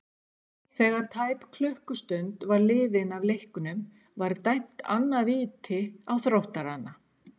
Þegar tæp klukkustund var liðin af leiknum var dæmt annað víti á Þróttarana.